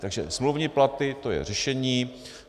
Takže smluvní platy, to je řešení.